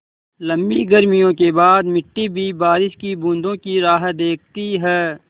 लम्बी गर्मियों के बाद मिट्टी भी बारिश की बूँदों की राह देखती है